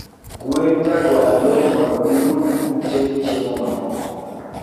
gwen jagwar loo modno giyud kute gi chiemo ma moko